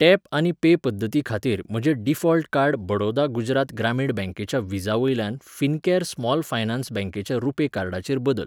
Tap आनी pay पद्दतीखातीर म्हजें डिफॉल्ट कार्ड बडौदा गुजरात ग्रामीण बँकेच्या व्हिसा वयल्यान फिनकॅर स्मॉल फायनान्स बँकेच्या रुपे कार्डाचेर बदल.